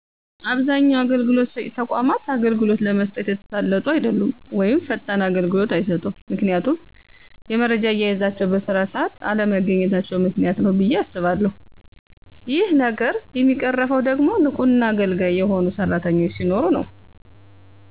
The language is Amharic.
አብዛኛው አገልግሎት ሰጭ ተቋማት አገልግሎት ለመስጠት የተሳለጡ አደሉም ወይም ፈጣን አገልግሎት አይሰጡም ምክንያቱም የመረጃ አያያዛቸው በስራ ሰአት አለመገኚታቸው ምክንያት ነው ብየ አስባለሁ ይህ ነገር የሚቀረፈው ደግሞ ንቁና አገልጋይ የሆኑ ሰራተኞች ሲኖሩ ነው።